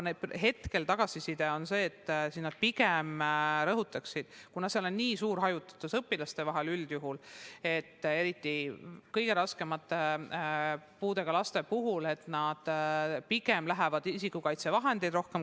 Hetkel on tagasiside see – ma rõhutan, et erivajadustega laste puhul on koolis üldjuhul niigi suur hajutatus, eriti kõige raskema puudega laste puhul –, et nad pigem kasutavad isikukaitsevahendeid rohkem.